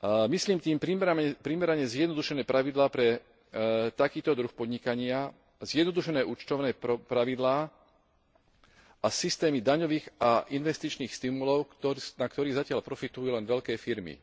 Myslím tým primerane zjednodušené pravidlá pre takýto druh podnikania, zjednodušené účtovné pravidlá a systémy daňových a investičných stimulov, na ktorých zatiaľ profitujú len veľké firmy.